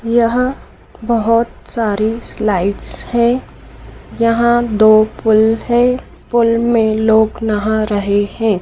यहां बहोत सारी स्लाइड्स हैं यहां दो पुल है पुल में लोग नहा रहे हैं।